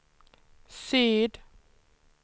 syd